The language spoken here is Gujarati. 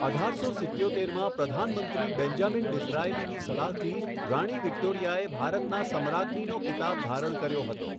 અઢારસો સિત્યોતેરમાં પ્રધાનમંત્રી બેન્જામિન ડિઝરાયલીની સલાહથી રાણી વિક્ટોરિયાએ 'ભારતનાં સમ્રાજ્ઞી'નો ખિતાબ ધારણ કર્યો હતો.